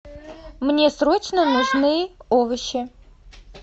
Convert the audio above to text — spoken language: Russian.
мне срочно нужны овощи